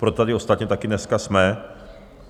Proto tady ostatně také dneska jsme.